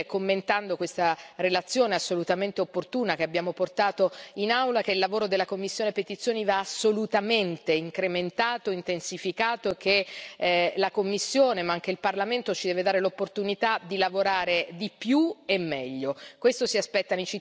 Allora mi sento di dire, commentando questa relazione assolutamente opportuna che abbiamo portato in Aula, che il lavoro della commissione PETI va assolutamente incrementato e intensificato, che la Commissione, ma anche il Parlamento, ci devono dare l'opportunità di lavorare di più e meglio.